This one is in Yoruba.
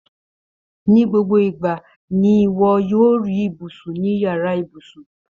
Ní gbogbo ìgbà ni iwọ yoo ri ibusun ni yàrá ibùsùn